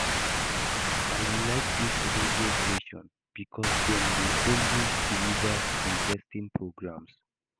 I like dis radio station because dem dey always deliver interesting programs